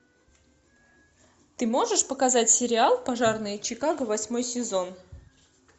ты можешь показать сериал пожарные чикаго восьмой сезон